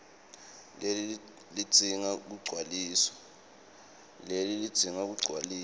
leli lidzinga kugcwaliswa